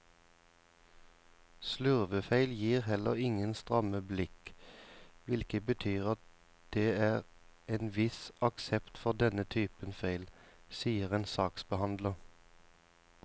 Slurvefeil gir heller ingen stramme blikk, hvilket betyr at det er en viss aksept for denne typen feil, sier en saksbehandler.